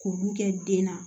K'olu kɛ den na